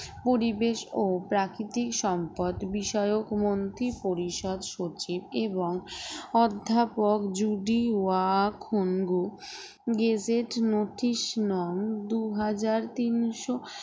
পরিবেশ ও প্রাকৃতিক সম্পদ বিষয়ক মন্ত্রী পরিষদ সচিব এবং অধ্যাপক জুডিওয়াখুন্গু গ্যাজেটসনথিসনং দুই হাজার তিনশো